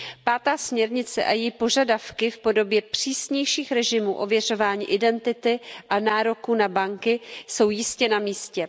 Pátá směrnice a její požadavky v podobě přísnějších režimů ověřování identity a nároků na banky jsou jistě na místě.